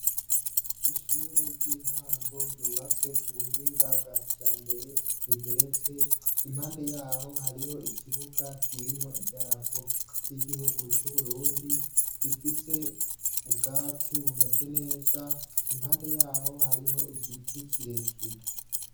Ishure ry'intango ryubatse k'ubuhinga bwakijambere rigeretse, impande yaho hariho idarapo ry'igihugu c'uburundi, rifise ubwatsi bumeze neza impande yaho hariho igiti kirekire.